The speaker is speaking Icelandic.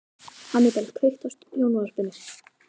Hannibal, kveiktu á sjónvarpinu.